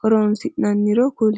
horonsinaniro kuli?